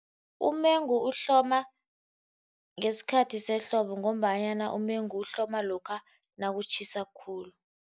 Umengu uhloma ngesikhathi sehlobo, ngombanyana umengu uhloma lokha nakutjhisa khulu.